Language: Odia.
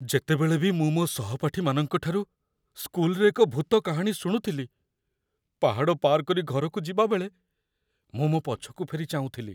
ଯେତେବେଳେ ବି ମୁଁ ମୋ ସହପାଠୀମାନଙ୍କ ଠାରୁ ସ୍କୁଲରେ ଏକ ଭୂତ କାହାଣୀ ଶୁଣୁଥିଲି, ପାହାଡ଼ ପାର କରି ଘରକୁ ଯିବାବେଳେ ମୁଁ ମୋ ପଛକୁ ଫେରି ଚାହୁଁଥିଲି।